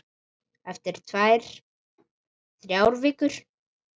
Eftir tvær, þrjár vikur.